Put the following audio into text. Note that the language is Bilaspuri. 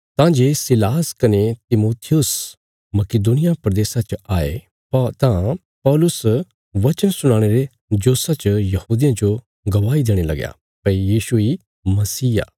तां जे सीलास कने तिमुथियुस मकिदुनिया प्रदेशा च आये तां पौलुस वचन सुनाणे रे जोशा च यहूदियां जो गवाही देणे लगया भई यीशु इ मसीह आ